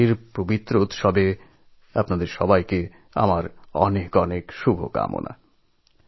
শিবরাত্রি পার্বণ উপলক্ষে সব্বাইকে আমার অনেক অনেক শুভকামনা